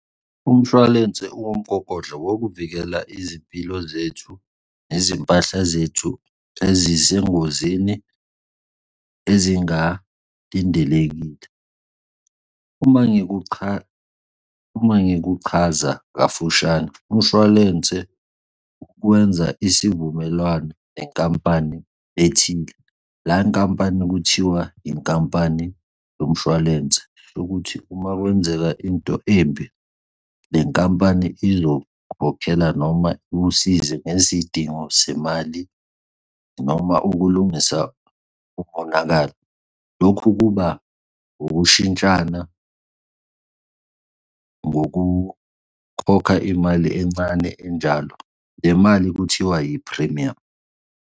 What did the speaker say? Umshwalense uwumgogodla wokuvikela izimpilo zethu nezimpahla zethu ezisengozini ezingalindelekile. Uma ngikuchaza kafushane umshwalense kwenza isivumelwano nenkampani ethile leya nkampani kuthiwa inkampani yomshwalense yokuthi uma kwenzeka into embi le nkampani izokhokhela noma ikusize ngezidingo zemali noma ukulungisa umonakalo. Lokhu kuba ukushintshana ngokukhokha imali encane enjalo. Le mali kuthiwa yiphrimiyamu.